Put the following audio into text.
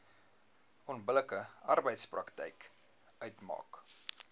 onbillike arbeidspraktyk uitmaak